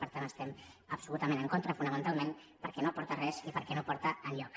per tant hi estem absolutament en contra fonamentalment perquè no aporta res i perquè no porta enlloc